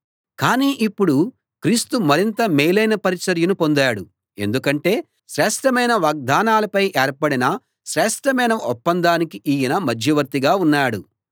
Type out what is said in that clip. కానీ ఇప్పుడు క్రీస్తు మరింత మేలైన పరిచర్యను పొందాడు ఎందుకంటే శ్రేష్ఠమైన వాగ్దానాలపై ఏర్పడిన శ్రేష్ఠమైన ఒప్పందానికి ఈయన మధ్యవర్తిగా ఉన్నాడు